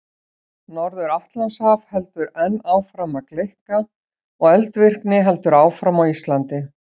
Norður-Atlantshaf heldur enn áfram að gleikka og eldvirkni heldur áfram á Íslandi.